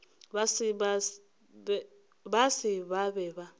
ba se ba be ba